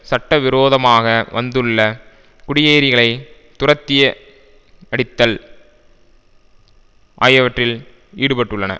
சட்டவிரோதமாக வந்துள்ள குடியேறிகளை துரத்திய அடித்தல் ஆகியவற்றில் ஈடுபட்டுள்ளன